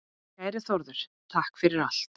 Kæri Þórður, takk fyrir allt.